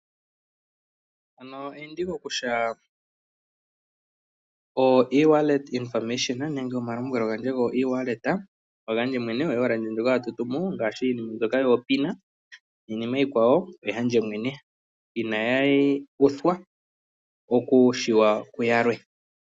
Mpano eyindiko kutya oeWallet information nenge omalombwelo ngwandje ngo iwaleta ongandje mwene, o iwaleta ndjoka hatutumu ngashi mbyoka yopina ninima yikwawo oyandje mwene, inayuthwa oku tseyika kuyamwe.